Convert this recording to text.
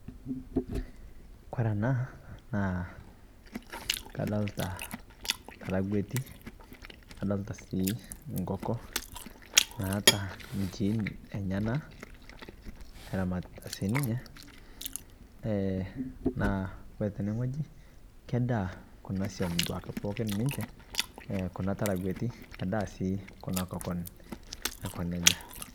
Kore ana naa kadolita taaragueti nadolita sii kokoon naata nchiin enyanak eramatita sii ninyee. Eeh naa ore tene ng'oji kedaa kuna soum duake pookin ninchee ee kuna taaragueti kedaa sii kuna kookon aikoo nejaa.